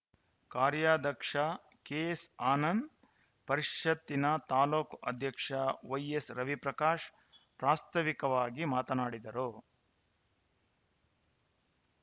ಕಾರ್ಯಾಧ್ಯಕ್ಷ ಕೆಎಸ್‌ ಆನಂದ್‌ ಪರಿಷತ್ತಿನ ತಾಲೂಕು ಅಧ್ಯಕ್ಷ ವೈಎಸ್‌ ರವಿಪ್ರಕಾಶ್‌ ಪ್ರಾಸ್ತಾವಿಕವಾಗಿ ಮಾತನಾಡಿದರು